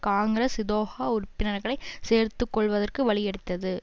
காங்கிரஸ் இதொகா உறுப்பினர்களை சேர்த்துக்கொள்வதற்கு வழி எடுத்தது